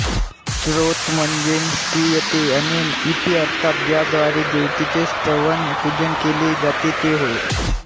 स्तोत्र म्हणजे स्तूयते अनेन इति अर्थात ज्याद्वारे देवतेचे स्तवन पूजन केले जाते ते होय